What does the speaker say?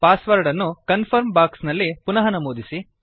pass word ಅನ್ನು confirm box ನಲ್ಲಿ ಪುನಃ ನಮೂದಿಸಿ